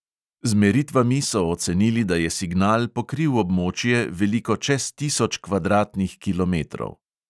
Z meritvami so ocenili, da je signal pokril območje, veliko čez tisoč kvadratnih kilometrov.